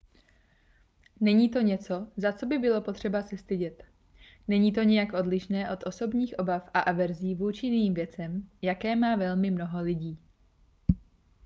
není to něco za co by bylo potřeba se stydět není to nijak odlišné od osobních obav a averzí vůči jiným věcem jaké má velmi mnoho lidí